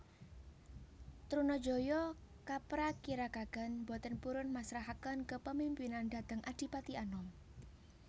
Trunajaya kaprakirakaken boten purun masrahaken kepemimpinan dhateng Adipati Anom